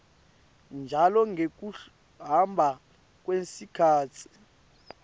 njalo ngekuhamba kwesikhatsi